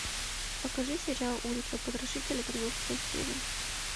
покажи сериал улица потрошителя тринадцатая серия